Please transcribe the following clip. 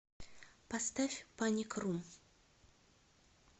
поставь паник рум